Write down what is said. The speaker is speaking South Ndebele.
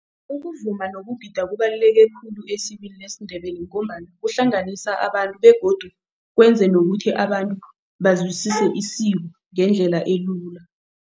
Ukuvuma nokugida kubaluleke khulu esikweni lesiNdebele ngombana kuhlanganisa abantu begodu kwenze nokuthi abantu bazwisise isiko ngendlela elula.